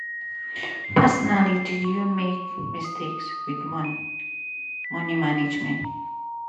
personally did you make mistakes wit money money management?